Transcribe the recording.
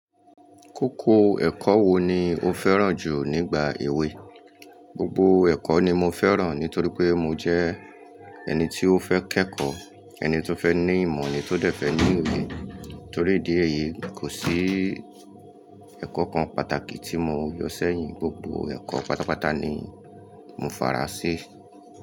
Kókó ẹ̀kọ́ wo ni o fẹ́ràn jù nígbà èwe? Gbogbo ẹ̀kọ́ ni mo fẹ́ràn nítorí pé mo jẹ́ ẹni tí ó fẹ́ kẹ́kọ̀ọ́, ẹni tó fẹ́ ní ìmọ̀, ẹni tó dẹ̀ fẹ́ ní òye. Torí ìdí èyí kò sí ẹ̀kọ́ kan pàtàkì tí mo yọ sẹ́yìn, gbogbo ẹ̀kọ́ pátápátá ni mo fara sí.